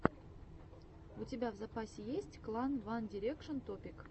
у тебя в запасе есть клип ван дирекшен топик